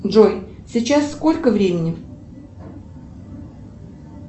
джой сейчас сколько времени